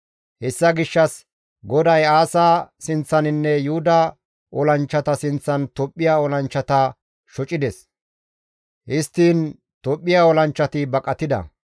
Hessa gishshas GODAY Aasa sinththaninne Yuhuda olanchchata sinththan Tophphiya olanchchata shocides; histtiin Tophphiya olanchchati baqatida.